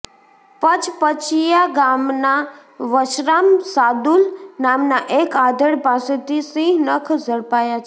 પચપચીયા ગામના વશરામ સાદુલ નામના એક આધેડ પાસેથી સિંહ નખ ઝડપાયા છે